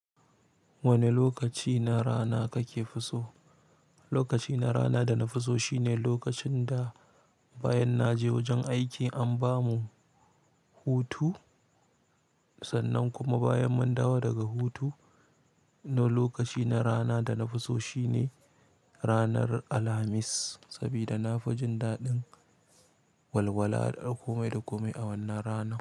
Wane lokaci na rana kake fi so? Lokaci na rana da na fi so shine lokacin da bayan na je wajen aiki an ba mu hutu, sannan kuma bayan mun dawo daga hutu. Na lokaci na rana da na fi so shine ranar Alhamis, saboda na fi jin daɗin walwala da komai da komai a wannan rana.